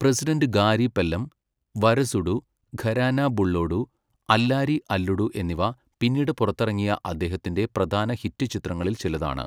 President Gari Pellam', 'Varasudu', 'Gharana Bullodu', 'Allari Alludu' എന്നിവ പിന്നീട് പുറത്തിറങ്ങിയ അദ്ദേഹത്തിൻ്റെ പ്രധാന ഹിറ്റ് ചിത്രങ്ങളിൽ ചിലതാണ്.